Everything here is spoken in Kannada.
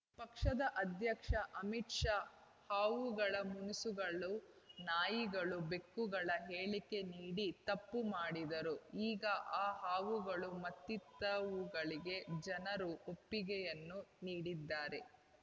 ಪಕ್ಷದ ಅಧ್ಯಕ್ಷ ಅಮಿತ್‌ ಶಾ ಹಾವುಗಳು ಮುಂಗುಸು ಗಳು ನಾಯಿಗಳು ಬೆಕ್ಕುಗಳ ಹೇಳಿಕೆ ನೀಡಿ ತಪ್ಪು ಮಾಡಿದರು ಈಗ ಆ ಹಾವುಗಳು ಮತ್ತಿತವುಗಳಿಗೆ ಜನರು ಒಪ್ಪಿಗೆಯನ್ನು ನೀಡಿದ್ದಾರೆ